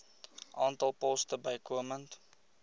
aantal poste bykomend